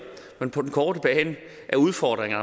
på den korte bane er udfordringen